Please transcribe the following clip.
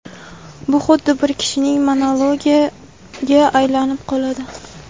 bu xuddi bir kishining monologiga aylanib qoladi.